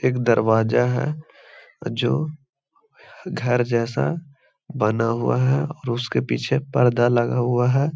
एक दरवाज़ा है जो घर जैसा बना हुआ है और उसके पीछे पर्दा लगा हुआ है।